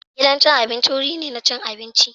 Gidan cin abinci wuri ne na cin abinci.